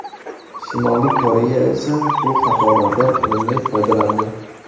Shimoliy Koreya esa bu xatolardan unumli foydalandi”.